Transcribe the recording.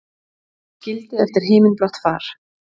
Skildi eftir himinblátt far.